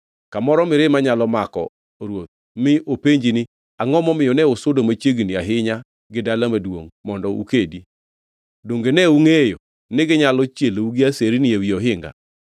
kamoro mirima nyalo mako ruoth, mi openji ni, ‘Angʼo momiyo ne usudo machiegni ahinya gi dala maduongʼ mondo ukedi? Donge ne ungʼeyo niginyalo chielou gi aserenigi ewi ohinga?